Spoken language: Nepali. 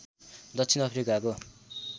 दक्षिण अफ्रिकाको